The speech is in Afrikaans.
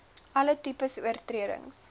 alle tipes oortredings